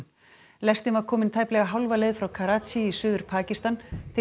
lestin var komin tæplega hálfa leið frá í Suður Pakistan til